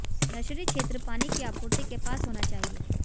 nursery क्षेत्र पानी की आपूर्ति के पास होना चाहिए